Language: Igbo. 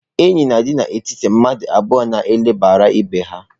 Enyi na-adị n'etiti mmadụ abụọ na ele banyere ibe ha.